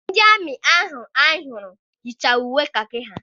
Ndị amị ahụ anyị hụrụ yicha uwe kakị ha.